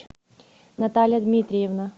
наталья дмитриевна